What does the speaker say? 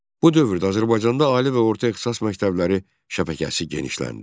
Bu dövrdə Azərbaycanda ali və orta ixtisas məktəbləri şəbəkəsi genişləndi.